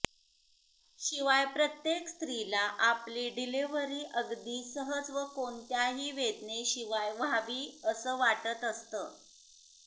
शिवाय प्रत्येक स्त्रीला आपली डिलिव्हरी अगदी सहज व कोणत्याही वेदनेशिवाय व्हावी असं वाटत असतं